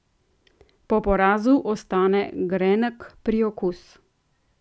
Po porazu ostane grenek priokus.